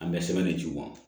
An bɛ sɛbɛn de ci u ma